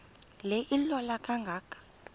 le ilola kangaka